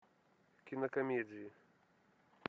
кинокомедии